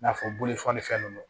I n'a fɔ bolo fɔlifɛn ninnu